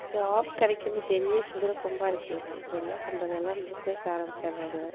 Job கிடைக்கிறது பெரிய குதிரை கொம்பா இருக்கு அப்புறம் என்ன பண்றது எல்லாம் business ஆரம்பிச்சிடுறாங்க.